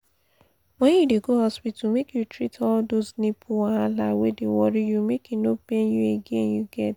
when you dey go hospital make you treat all those nipple wahala wey dey worry you make e no pain you again you get